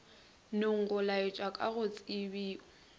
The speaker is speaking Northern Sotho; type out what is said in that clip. nogo laetwa ka go tsebio